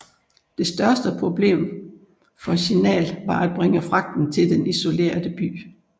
Det største problem for Signal var at bringe fragten til den isolerede by